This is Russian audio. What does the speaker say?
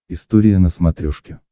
история на смотрешке